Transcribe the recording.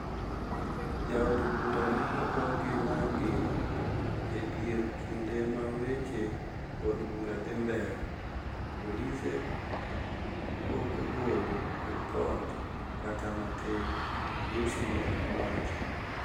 ja od bura ne ogo gi magina e dier kinde ma weche od bura dhi mbele, polise po ogolo ripot kata matin, " Lussi ne owacho